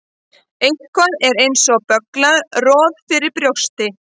Eitthvað er eins og bögglað roð fyrir brjósti